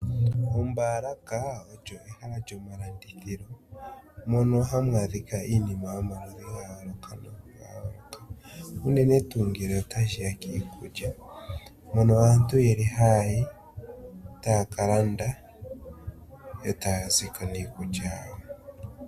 Ombaalaka olyo ehala lyomalandithilo mono hamu adhika Iinima yomaludhi ga yooloka noga yooloka unene tuu ngele otashiya kiikulya, mono aantu yeli haayi taya ka landa etaya zi ko niikulya wawo.